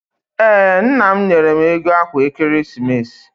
Ee, nna m nyere m ego akwa ekeresimesi.